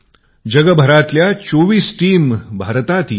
जगभरातील २४ चमु भारतात येत आहेत